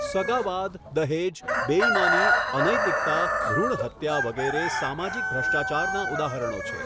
સગાવાદ, દહેજ, બેઈમાની, અનૈતિકતા, ભૃણહત્યા વગેરે સામાજીક ભ્રષ્ટાચારના ઉદાહરણો છે.